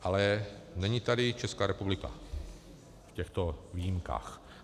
Ale není tady Česká republika v těchto výjimkách.